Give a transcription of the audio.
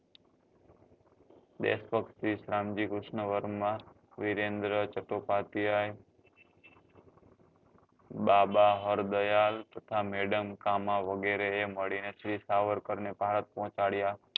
દેશભક્ત શ્રી શ્યામ જી કૃષ્ણ વર્મા વીરેન્દ્ર ચટોપાધ્યાય બાબા હરદયાલ તથા madam કામા વગેરે એ મળી ને શ્રી સાવરકર ને ભારત પહોચાડ્યા